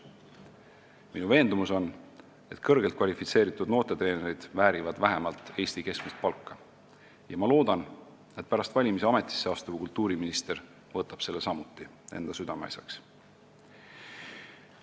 Minu veendumus on, et kõrgelt kvalifitseeritud noortetreenerid väärivad vähemalt Eesti keskmist palka, ja ma loodan, et pärast valimisi ametisse astuv kultuuriminister võtab selle samuti enda südameasjaks.